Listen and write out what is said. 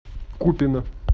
купино